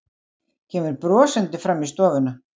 Kemur brosandi fram í stofuna.